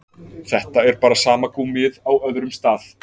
Þetta er bara sama gúmmíið á öðrum stað.